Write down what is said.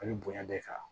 A bɛ bonya de kan